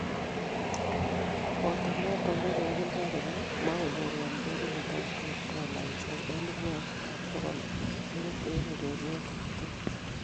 Koboto noto kokimwa kole magonyor kotiorindet age tugul dolaisiek elebu oeng ak bokol muut eng ureriet age tugul